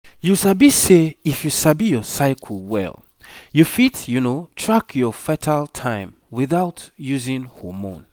you sabi say if you sabi your cycle well you fit track your fertile time without using hormone